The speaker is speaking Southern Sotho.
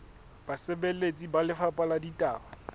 basebeletsi ba lefapha la ditaba